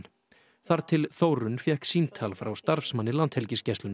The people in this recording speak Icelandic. þar til Þórunn fékk símtal frá starfsmanni Landhelgisgæslunnar